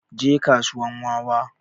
Je kasuwan wawa